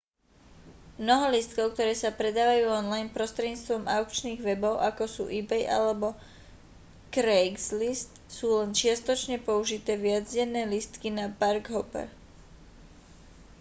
mnoho lístkov ktoré sa predávajú online prostredníctvom aukčných webov ako sú ebay alebo craigslist sú len čiastočne použité viacdenné lístky na park hopper